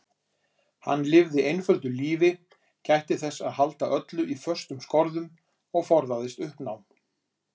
Hann lifði einföldu lífi, gætti þess að halda öllu í föstum skorðum og forðaðist uppnám.